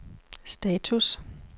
status